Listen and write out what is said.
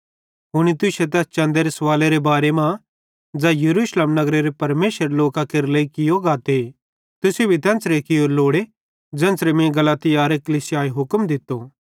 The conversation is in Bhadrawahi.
हुनी तुश्शे तैस चन्देरे सवालेरे बारे मां ज़ै यरूशलेम नगरेरे परमेशरेरे लोकां केरे लेइ कियो गाते तुसेईं भी तेन्च़रे कियोरू लोड़े ज़ेन्च़रे मीं गलातियारे कलीसियान हुक्म दित्तो